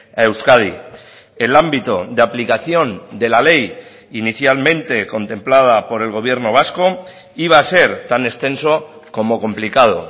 a euskadi el ámbito de aplicación de la ley inicialmente contemplada por el gobierno vasco iba a ser tan extenso como complicado